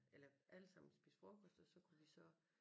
Eller alle sammen spise frokost og så kunne vi så